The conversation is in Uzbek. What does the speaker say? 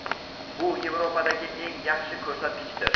bu Yevropadagi eng yaxshi ko‘rsatkichdir.